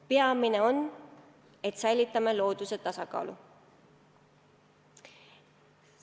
Peamine on, et säilitame looduse tasakaalu.